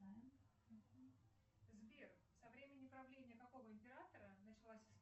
сбер со времени правления какого императора началась